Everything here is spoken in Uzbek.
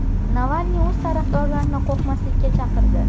Navalniy o‘z tarafdorlarini qo‘rqmaslikka chaqirdi.